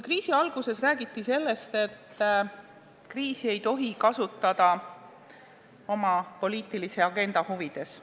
Kriisi alguses räägiti, et kriisi ei tohi kasutada oma poliitilise agenda huvides.